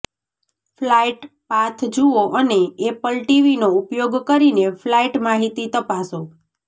flight path જુઓ અને Apple ટીવીનો ઉપયોગ કરીને ફ્લાઇટ માહિતી તપાસો